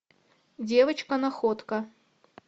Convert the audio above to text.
девочка находка